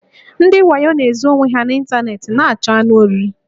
Ndị wayo na-ezo onwe ha n' ịntanetị na-achọ anụ oriri